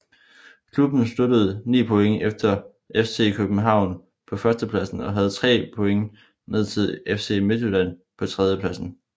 Klubben sluttede 9 point efter FC København på førstepladsen og havde 3 point ned til FC Midtjylland på tredjepladsen